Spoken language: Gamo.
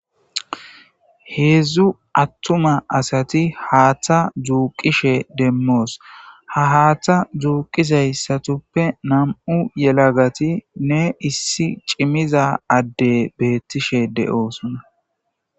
Heedzdzu attuma asati haaththa juuqishe demmoos ha haaththa juuqisayssatuppe nam7u yelagati ne issi cimiza adde beettishe de7oosona